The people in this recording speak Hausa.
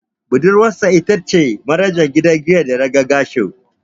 Budurwarsa ita ce manajan gidan giyar da naga Gershom.